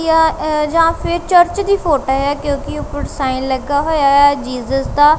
ਯਾ ਜਾਂ ਫੇਰ ਚਰਚ ਦੀ ਫੋਟੋ ਹੈ ਕਿਉਕਿ ਊਪਰ ਸਾਈਨ ਲੱਗਾ ਹੋਇਆ ਹੈ ਜੀਸਸ ਦਾ।